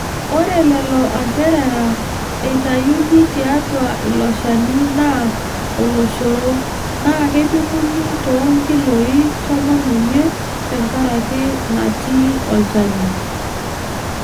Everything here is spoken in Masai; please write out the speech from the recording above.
Ore lelo anterera eitayuni tiatua iloshani naa (oloshoro) naa keipimuni too nkiloi tomon omiet tenkaraki natii olchani.